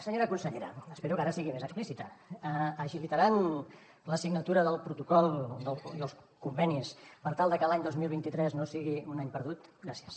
senyora consellera espero que ara sigui més explícita agilitaran la signatura del protocol i els convenis per tal de que l’any dos mil vint tres no sigui un any perdut gràcies